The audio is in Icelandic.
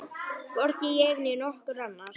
Hvorki ég né nokkur annar.